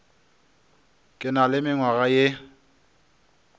ke na le mengwaga ye